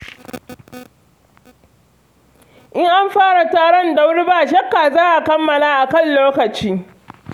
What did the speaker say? In an fara taron da wuri ba shakka za a kammala a kan lokaci.